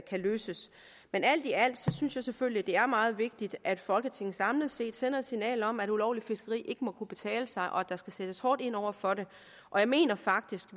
løses men alt i alt synes jeg selvfølgelig at det er meget vigtigt at folketinget samlet set sender et signal om at ulovligt fiskeri ikke må kunne betale sig og at der skal sættes hårdt ind over for det og jeg mener faktisk